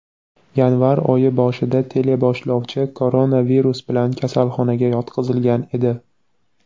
Yanvar oyi boshida teleboshlovchi koronavirus bilan kasalxonaga yotqizilgan edi.